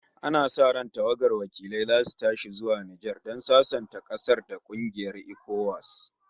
Ana sa ran tawagar wakilai zasu tashi zuwa Nijar don sasanta ƙasar da kungiyar ECOWAS